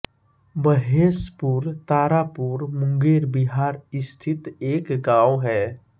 महेशपुर तारापुर मुंगेर बिहार स्थित एक गाँव है